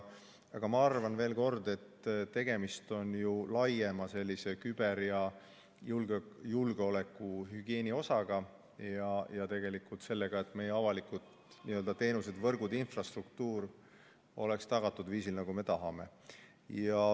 Aga ma ütlen veel kord, et tegemist on laiema küber- ja julgeolekuhügieeni osaga ja tegelikult sellega, et meie avalikud teenused, võrgud, infrastruktuur oleks tagatud viisil, nagu me tahame.